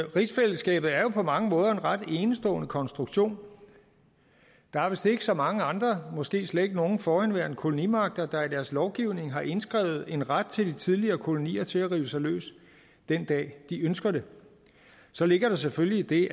rigsfællesskabet er jo på mange måder en ret enestående konstruktion der er vist ikke så mange andre måske slet ikke nogen forhenværende kolonimagter der i deres lovgivning har indskrevet en ret til de tidligere kolonier til at rive sig løs den dag de ønsker det så ligger der selvfølgelig det i